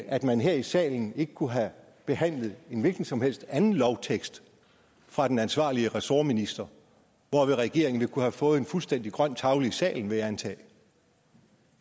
at man her i salen ikke kunne have behandlet en hvilken som helst anden lovtekst fra den ansvarlige ressortminister hvorved regeringen ville kunne have fået en fuldstændig grøn tavle i salen vil jeg antage